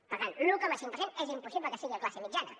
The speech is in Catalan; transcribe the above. per tant l’un coma cinc per cent és impossible que sigui de classe mitjana